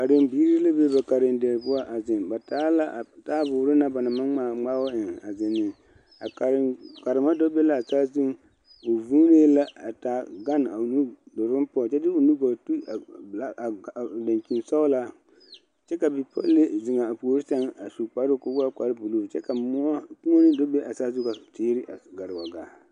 Karebiiri la be ba karediire poɔ a zeŋ, ba taa la a taayɛboɔre na ba naŋ maŋ ŋma a ŋmaabo eŋ a zeŋ ne kare karema do be la a saazu o vuunee la a taa gane kyɛ de o nudoluŋ saŋ kyɛ de o nugɔɔ te a black a dankyini sɔglaa kyɛ ka bipole bile mine meŋ zeŋ a puori saŋ a su kparo ko'o waa kpare buluu kyɛ ka moɔ kponne do be a saazu poɔ ka teere yɛ gare wa gaa.